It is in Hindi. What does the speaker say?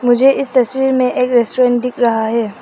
मुझे इस तस्वीर में एक रेस्टोरेंट दिख रहा है।